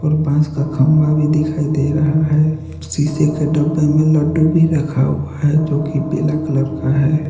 और बांस का खंबा भी दिखाई दे रहा है शीशे के डब्बे में लड्डू भी रखा हुआ है जो की पीला कलर का है।